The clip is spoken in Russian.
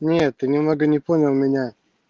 нет ты немного не понял меня